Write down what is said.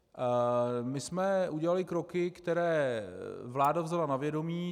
My jsme udělali kroky, které vláda vzala na vědomí.